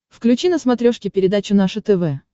включи на смотрешке передачу наше тв